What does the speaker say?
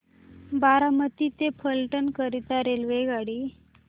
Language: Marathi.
बारामती ते फलटण करीता रेल्वेगाडी